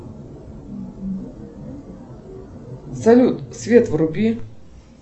салют свет вруби